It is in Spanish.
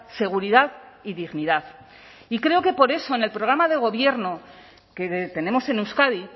seguridad y dignidad y creo que por eso en el programa de gobierno que tenemos en euskadi